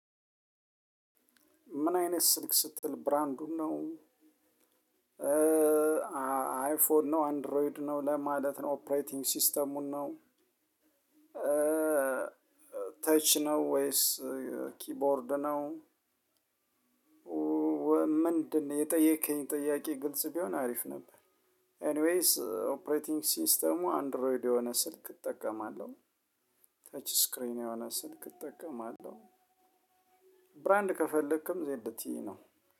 ምን አይነት ስልክ ስትል ብራንዱን ነው? አይፎን ነው አንድሮይድ ነው ለማለት ነው ኦፕሬቲንግ ሲስተሙን ነው? ተች ነው ወይስ ኪቦርድ ነው? ምንድነው የጠየከኝ ጥያቄ ግልጽ ቢሆን አሪፍ ነበር። ኤኒዌይስ ኦፕሬቲንግ ሲስተሙ አንድሮይድ የሆነ ስልክ እጠቀማለሁ። ተች ስክሪን የሆነ ስልክ እጠቀማለሁ። ብራንድ ከፈለክም ዜድ ቲ ኢ ነው